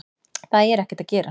Það er ekkert að gerast.